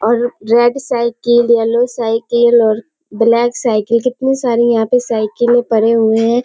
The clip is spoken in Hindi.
और रेड साइकिल येलो साइकिल और ब्लैक साइकिल और कितने सारे साइकिले यहाँ पर पड़े हुए हैं।